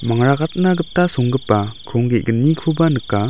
mangrakatna gita songgipa krong ge·gnikoba nika.